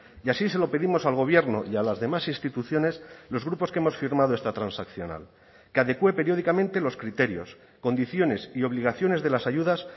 y así se lo pedimos al gobierno y a las demás instituciones los grupos que hemos firmado esta transaccional que adecúe periódicamente los criterios condiciones y obligaciones de las ayudas